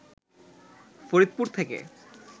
ফরিদপুর থেকে